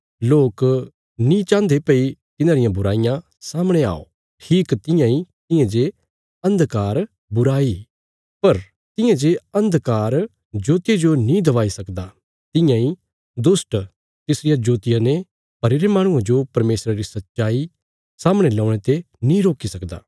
लोक नीं चाहन्दे भई तिन्हांरियां बुराईयां सामणे आओ ठीक तियां इ तियां जे अन्धकार बुराई पर तियां जे अन्धकार ज्योतिया जो नीं दबाई सकदा तियां इ दुष्ट तिसरिया ज्योतिया ने भरीरे माहणुये जो परमेशरा री सच्चाई सामणे ल्यौणे ते नीं रोकी सकदा